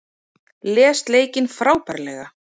Les leikinn frábærlega